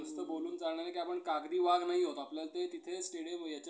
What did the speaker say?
नुसतं बोलून चालणार नाही. कि आपण कागदी वाघ नाही आहोत आपल्याला ते तिथे stadium याच्यात